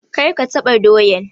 Kar ka taɓa doyan!